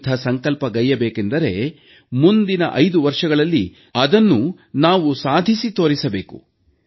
ಎಂಥ ಸಂಕಲ್ಪಗೈಯಬೇಕೆಂದರೆ ಮುಂದಿನ 5 ವರ್ಷಗಳಲ್ಲಿ ಅದನ್ನು ನಾವು ಸಾಧಿಸಿ ತೋರಿಸಬೇಕು